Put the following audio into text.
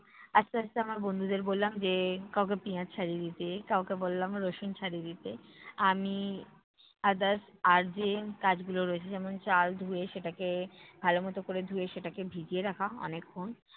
আস্তে আস্তে আমার বন্ধুদের বললাম যে, কাউকে পিঁয়াজ ছাড়িয়ে দিতে, কাউকে বললাম রসুন ছাড়িয়ে দিতে, আমি others আর যে কাজগুলো রয়েছে যেমন চাল ধুয়ে সেটাকে ভালোমতো করে ধুয়ে সেটাকে ভিজিয়ে রাখা অনেক ক্ষণ